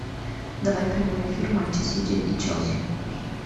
давай прямой эфир матча сити и челси